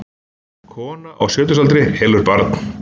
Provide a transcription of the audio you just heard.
Kona á sjötugsaldri elur barn